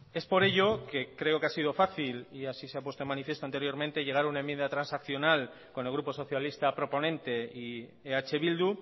es por ello que creo que ha sido fácil y así se ha puesto de manifiesto anteriormente llegar a una enmienda transaccional con el grupo socialista proponente y eh bildu